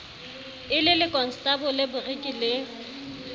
e le lekonstabole boriki le